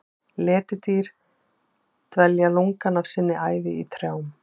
Letidýr dvelja lungann af sinni ævi í trjám.